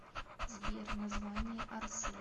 сбер название орсэй